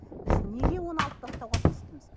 біз неге оны алып тастауға тиістіміз